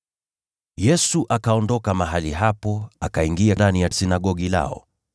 Yesu akaondoka mahali hapo, akaingia ndani ya sinagogi lao,